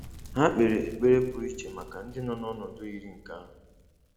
Ha kpeere ekpere pụrụ iche maka ndị nọ n’ọnọdụ yiri nke ahụ.